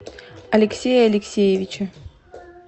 алексея алексеевича